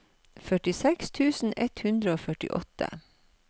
førtiseks tusen ett hundre og førtiåtte